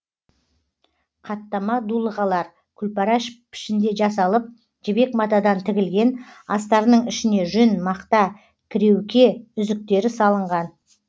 қаттама дулығалар күлпара пішінде жасалып жібек матадан тігілген астарының ішіне жүн мақта кіреуке үзіктері салынған